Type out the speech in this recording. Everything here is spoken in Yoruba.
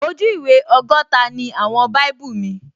Ojú ìwé ọgọ́ta ni àwọn báíbù míì